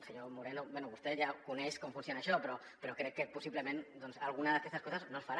senyor moreno bé vostè ja coneix com funciona això però crec que possi·blement algunes d’aquestes coses no es faran